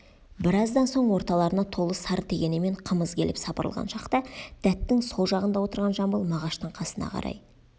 біраздан соң орталарына толы сары тегенемен қымыз келіп сапырылған шақта дәттің сол жағында отырған жамбыл мағаштың қасына қарай